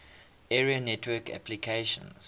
area network applications